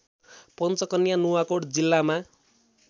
पञ्चकन्या नुवाकोट जिल्लामा